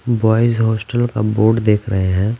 Boys hostel का board देख रहे है।